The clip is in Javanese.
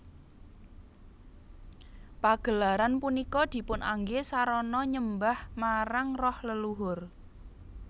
Pagelaran punika dipunanggé sarana nyembah marang roh leluhur